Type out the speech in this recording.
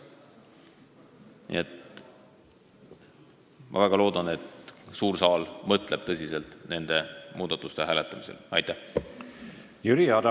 Nii et ma väga loodan, et suur saal nende muudatusettepanekute hääletamisel tõsiselt mõtleb.